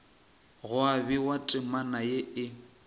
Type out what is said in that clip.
gwa bewa temana ye e